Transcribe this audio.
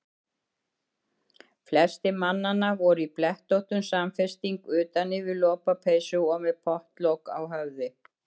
Flestir mannanna voru í blettóttum samfesting utan yfir lopapeysu og með pottlok á höfði.